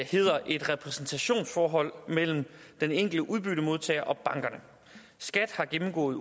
hedder et repræsentationsforhold mellem den enkelte udbyttemodtager og bankerne skat har gennemgået